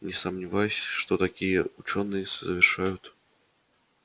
не сомневаюсь что такие учёные совершают